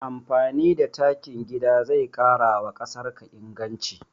Amfani da takin gida zai ƙarawa ƙasarka inganci